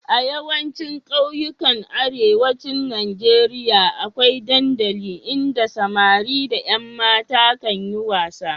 A yawaicin ƙauyukan Arewacin Najeriya akwai dandali inda samari da ƴan mata kan yi wasa.